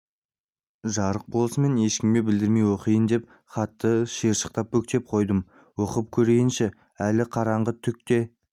жарық болысымен ешкімге білдірмей оқиын деп хатты шиыршықтап бүктеп қойдым оқып көрейінші әлі қараңғы түк те